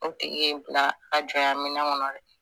O tigi y'i bila a ka jɔnya minnɛ kɔnɔ dɛ.